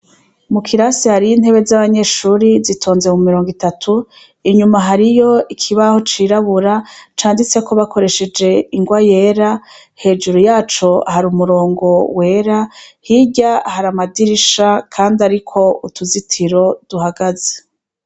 Mu kirase hariyo intebe z'abanyeshure zitonze mu mirongo itatu, inyuma hariyo ikibaho cirabura canditseko bakoresheje ingwa yera, hejuru yaco hari umurongo wera, hirya hari amadirisha kandi ariko utuzitiro duhagaze.